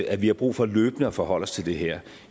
at vi har brug for løbende at forholde os til det her